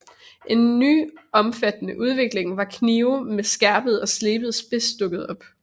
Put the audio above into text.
En ny omfattende udvikling var knive med skærpet og slebet spids dukkede op